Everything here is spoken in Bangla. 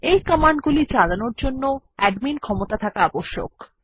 এই কমান্ড গুলি চালানোর জন্য অ্যাডমিন ক্ষমতা থাকা আবশ্যক